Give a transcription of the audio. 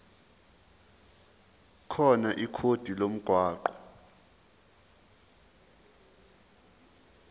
khona ikhodi lomgwaqo